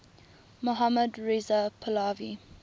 mohammad reza pahlavi